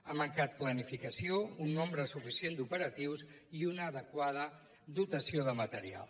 ha mancat planificació un nombre suficient d’operatius i una adequada dotació de material